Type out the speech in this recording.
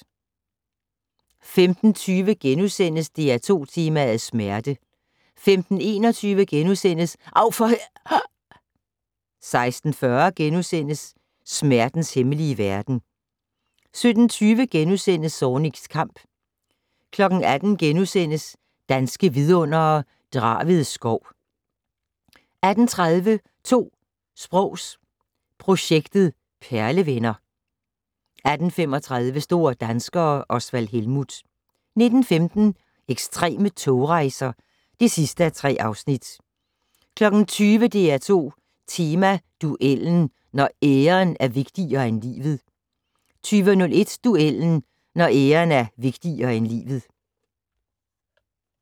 15:20: DR2 Tema: Smerte * 15:21: Av for h......! * 16:40: Smertens hemmelige verden * 17:20: Zornigs kamp * 18:00: Danske Vidundere: Draved Skov * 18:30: 2 sprogs projektet - perlevenner 18:35: Store danskere - Osvald Helmuth 19:15: Ekstreme togrejser (3:3) 20:00: DR2 Tema: Duellen - når æren er vigtigere end livet 20:01: Duellen - når æren er vigtigere end livet